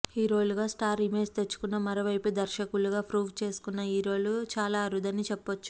హీరోలుగా star image తెచ్చుకుని మరో వైపు దర్శకులుగా ప్రూవ్ చేసుకున్న హీరోలు చాలా అరుదని చెప్పొచ్చు